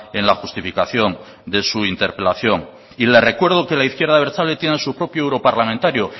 en la justificación de su interpelación le recuerdo que la izquierda abertzale tiene su propio europarlamentario